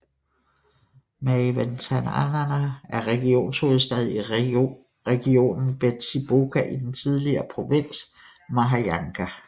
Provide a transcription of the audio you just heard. Maevatanana er regionshovedstad i regionen Betsiboka i den tidligere provins Mahajanga